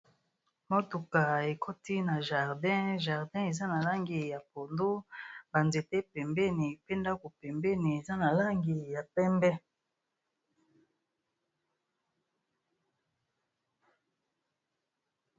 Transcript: Mutuka ekoti na jardin jardin eza na langi ya pondu ba nzete pembeni pe ndako pembeni eza na langi ya pembe